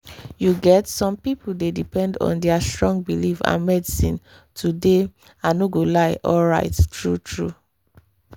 you get some people dey depend on their strong belief and medicine to dey i no go lie alright true-true.